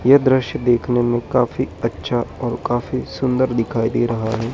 ये दृश्य देखने में काफी अच्छा और काफी सुंदर दिखाई दे रहा है।